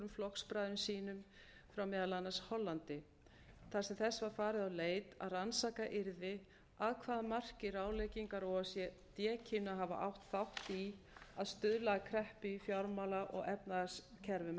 flokksbræðrum sínum frá meðal annars hollandi þar sem þess var farið á leit að rannsakað yrði að hvaða marki ráðleggingar o e c d kynnu að hafa átt þátt í að stuðla að kreppu í fjármála og efnahagskerfum